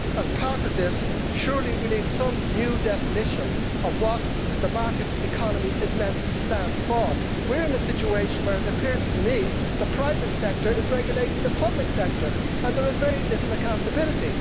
As part of this we surely need some new definition of what the market economy is meant to stand for. We are in a situation, it appears to me, where the private sector is regulating the public sector and there is very little accountability.